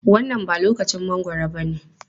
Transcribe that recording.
Wannan ba lokacin mangwaro bane.